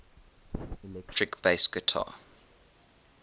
electric bass guitar